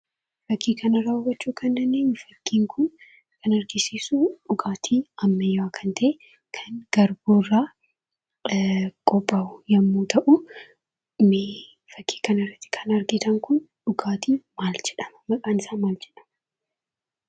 Fakkii kanarraa hubachuu kan dandeenyu jechuudha fakkiin kun kan argisiisu dhugaatii ammayyaa kan ta'ee kan garbuurraa qophaa'u yommuu ta'uu, fakkii kanarratti kan argitan kun dhugaatii maal jedhama maqaan isaa maal jedhamaa?